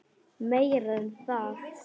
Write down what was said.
Meira en það.